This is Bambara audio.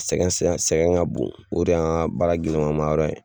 Sɛgɛn sɛgɛn ka bon, o de y'an ka baara gɛlɛman yɔrɔ ye